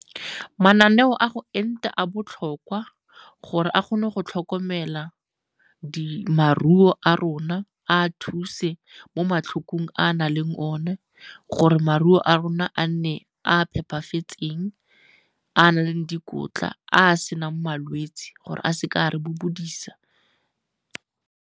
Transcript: Mananeo a go enta a botlhokwa gore a kgone go tlhokomela maruo a rona a a thuse mo matlhokong a a nang le one gore maruo a rona a nne a phepafetseng, a a na le dikotla a a senang malwetse gore a seke a re bobodisa.